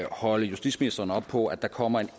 holde justitsministeren op på at der kommer